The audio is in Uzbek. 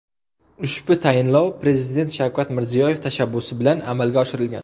Ushbu tayinlovlar Prezident Shavkat Mirziyoyev tashabbusi bilan amalga oshirilgan.